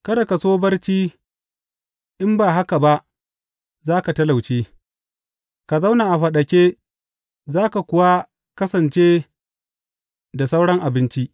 Kada ka so barci in ba haka ba za ka talauce; ka zauna a faɗake za ka kuwa kasance da sauran abinci.